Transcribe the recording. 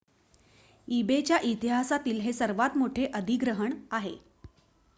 ebay च्या इतिहासातील हे सर्वात मोठे अधिग्रहण आहे